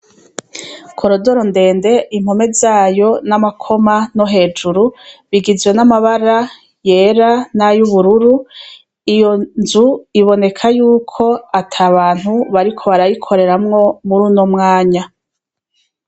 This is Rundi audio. Korodoro ndende impome zayo n'amakoma no hejuru bigizwe n'amabara yera nay’ubururu iyo nzu iboneka yuko ata bantu bariko barayikoreramwo muri no mwanya.